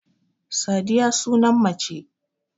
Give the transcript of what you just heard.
Sadiya sunan mace